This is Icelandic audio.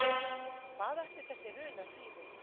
Hvað ætli þessi runa þýði?